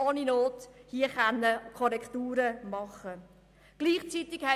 Ohne Not hätten wir hier Korrekturen vornehmen können.